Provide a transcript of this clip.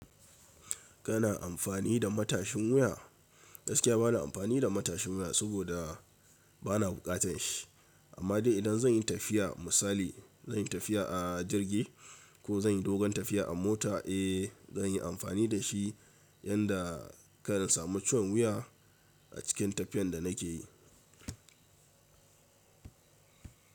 Kana amfani da matashin wuya? Gaskiya bana amfani da matashin wuya saboda bana bukatan shi. Amma dai idan zan yi tafiya misali zan yi tafiya a jirgi ko zan yi dogon tafiya a mota, eh zan yi amfani da shi yanda karna samun ciwon wuya a cikin tafiyan da na ke yi.